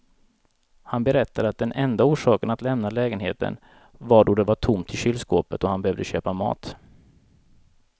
Han berättade att den enda orsaken att lämna lägenheten var då det var tomt i kylskåpet och han behövde köpa mat.